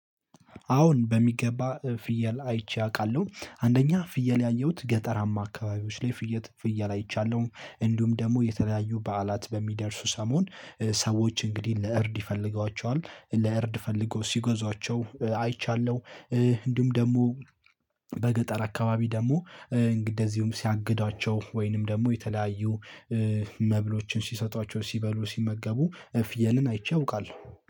አሁን በሚገባ ፍየል አይቼ አውቃለሁ አንደኛ ፍየል ያየሁት ገጠራማ አካባቢዎች ላይ ፍየት ፍየል አይቻለሁ። እንዲሁም ደግሞ የተለያዩ በዓላት በሚደርሱ ሰሞን ሰዎች እንግዲህ ለእርድ ይፈልጓቸዋል ለእርድ ፈልገው ሲጎዟቸው አይቻለሁ። እንዲሁም ደግሞ በገጠር አካባቢ ደግሞ እንደዚሁም ሲያግዷቸው ወይንም ደግሞ የተለያዩ መብሎችን ሲሰጧቸው ሲበሉ ሲመገቡ እፍየንን አይቼ አውቃለው።